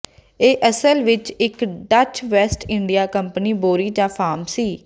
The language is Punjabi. ਇਹ ਅਸਲ ਵਿੱਚ ਇੱਕ ਡੱਚ ਵੈਸਟ ਇੰਡੀਆ ਕੰਪਨੀ ਬੋਰੀ ਜਾਂ ਫਾਰਮ ਸੀ